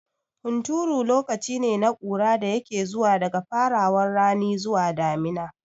Hunturu lokacine na ƙura da yake zuwa daga farawan rani zuwa damina